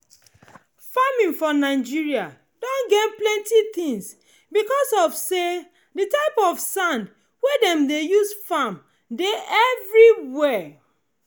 farming for nigeria don gain plenty things because of say the type of sand wey dem dey use farm dey everywhere.